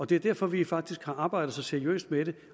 det er derfor vi faktisk har arbejdet så seriøst med det